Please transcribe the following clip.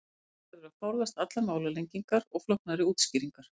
Þannig verður að forðast allar málalengingar og flóknari útskýringar.